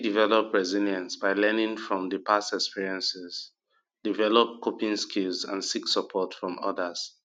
i fit develop resilience by learning from di past experiences develop coping skills and seek support from odas